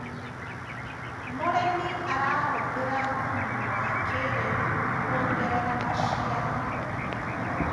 mũrĩmi arahuthira thumu wa kĩiriu kuongerera maciaro